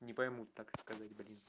не поймут так сказать блин